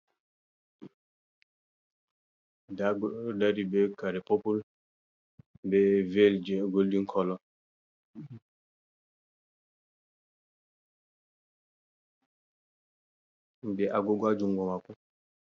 Nda goddo do dari be kare popul, be vel je goldin color, be agoga jungo mako.